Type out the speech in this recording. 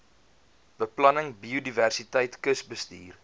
beplanning biodiversiteit kusbestuur